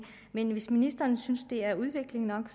men hvis ministeren synes at det er udvikling nok er